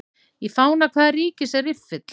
Í fána hvaða ríkis er riffill?